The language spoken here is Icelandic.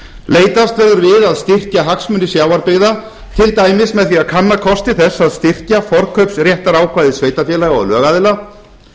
leitast verður við að styrkja hagsmuni sjávarbyggða til dæmis með því að kanna kosti þess að styrkja forkaupsréttarákvæði sveitarfélaga og lögaðila